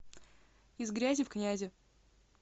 из грязи в князи